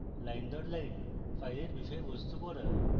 line দর line file বিষয়বস্তু পড়া